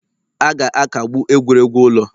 A ga-akagbu egwuregwu ụlọ.